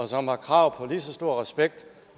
som har krav på lige så stor respekt